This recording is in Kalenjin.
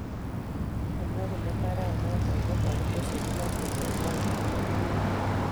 kimwa kole mbaret noton ko makitese kimache ke gol mauek